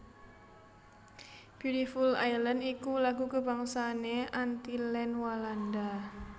Beautiful Islands iku lagu kabangsané Antillen Walanda